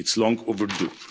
It's long overdue.